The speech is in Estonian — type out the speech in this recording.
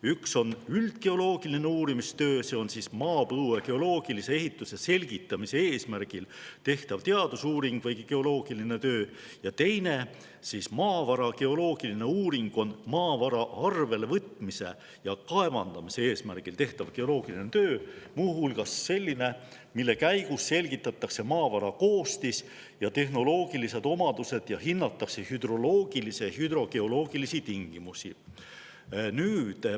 Üks on üldgeoloogiline uurimistöö, see on maapõue geoloogilise ehituse selgitamise eesmärgil tehtav teadusuuring või geoloogiline töö, ja teine, maavara geoloogiline uuring on maavara arvele võtmise ja kaevandamise eesmärgil tehtav geoloogiline töö, muu hulgas selline, mille käigus selgitatakse välja maavara koostis ja tehnoloogilised omadused ning hinnatakse hüdroloogilisi ja hüdrogeoloogilisi tingimusi.